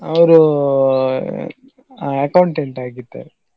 ಅವರು ಆ Accountant ಆಗಿದ್ದವರು.